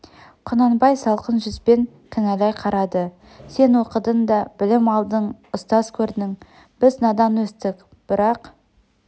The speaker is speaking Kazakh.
құнанбай салқын жүзбен кінәлай қарады сен оқыдың да білім алдың ұстаз көрдің біз надан өстік бірақ